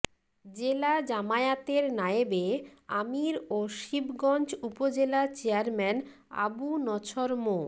জেলা জামায়াতের নায়েবে আমির ও শিবগঞ্জ উপজেলা চেয়ারম্যান আবু নছর মো